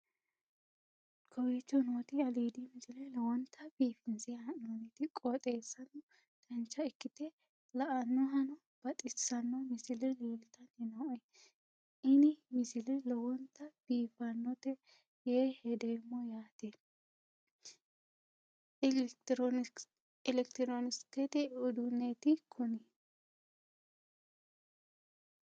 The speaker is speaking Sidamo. kowicho nooti aliidi misile lowonta biifinse haa'noonniti qooxeessano dancha ikkite la'annohano baxissanno misile leeltanni nooe ini misile lowonta biifffinnote yee hedeemmo yaate elekitiroonikisete uduunneeti kuni